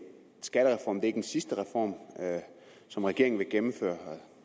skattereformen ikke er den sidste reform som regeringen vil gennemføre